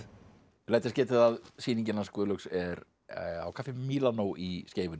læt þess getið að sýningin hans Guðlaugs er á kaffi Mílanó í Skeifunni og